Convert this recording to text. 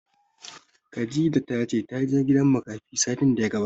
Khadijah ta ce ta je gidan makafi satin da ya gabata